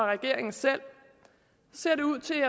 og regeringen selv ser det ud til